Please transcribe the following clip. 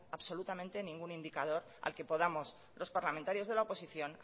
absolutamente ningún indicador al que podamos los parlamentarios de la oposición